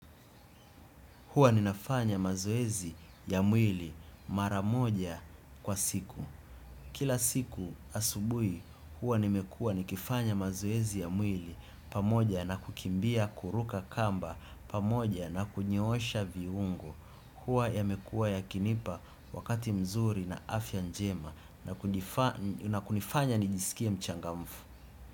Huwa ninafanya mazoezi ya mwili mara moja kwa siku. Kila siku asubuhi huwa nimekuwa nikifanya mazoezi ya mwili pamoja na kukimbia kuruka kamba pamoja na kunyoosha viungo. Huwa yamekuwa yakinipa wakati mzuri na afya njema na kunifanya nijisikie mchangamfu.